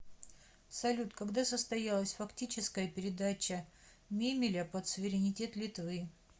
салют когда состоялась фактическая передача мемеля под суверенитет литвы